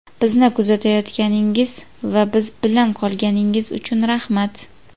Bizni kuzatayotganingiz va biz bilan qolganingiz uchun rahmat .